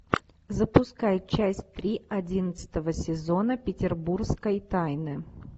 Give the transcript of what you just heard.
запускай часть три одиннадцатого сезона петербургской тайны